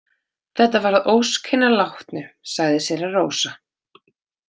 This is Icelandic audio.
Þetta var að ósk hinnar látnu, sagði séra Rósa.